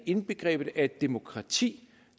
indbegrebet af et demokrati